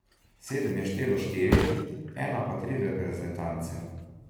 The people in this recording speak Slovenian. Sedem je štelo štiri, ena pa tri reprezentance.